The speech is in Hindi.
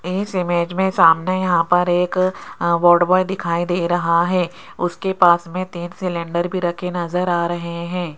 इस इमेज में सामने यहां पर एक अ वार्ड बॉय दिखाई दे रहा है उसके पास में तीन सिलेंडर भी रखे नजर आ रहे हैं।